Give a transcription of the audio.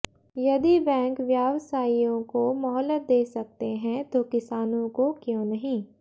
यदि बैंक व्यावसायियों को मोहलत दे सकते हैं तो किसानों को क्यों नहीं